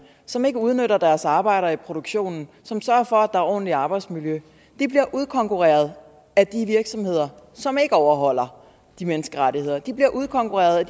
som ikke udnytter deres arbejdere i produktionen som sørger for at der er ordentligt arbejdsmiljø bliver udkonkurreret af de virksomheder som ikke overholder de menneskerettigheder de bliver udkonkurreret af